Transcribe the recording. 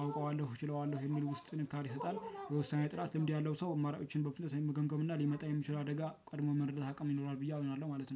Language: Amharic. አዉቀዋለው እችለዋለው የሚልን ዉስጥን ጥንካሬ ይሰጣል። የውሳኔ ጥራት ልምድ ያለው ሰው አማራጮችን በፍጥነት በመገምገም እና ሊመጣ የሚችል አደጋ ቀድሞ የመረዳት አቅም ይኖረዋል። ብዬ አምናለው ማለት ነው